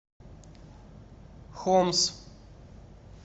хомс